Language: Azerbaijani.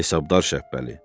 Hesabdar Şəbbəli.